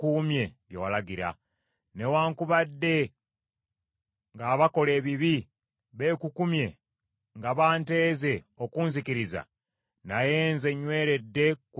Newaakubadde ng’abakola ebibi beekukumye nga banteeze okunzikiriza; naye nze nyweredde ku ebyo bye walagira.